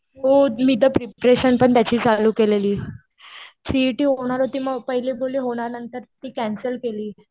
हो. मी तर प्रिपरेशन पण त्याची चालू केलेली. सीईटी होणार होती. मग पहिले बोलले होणार. नंतर ती कॅन्सल केली.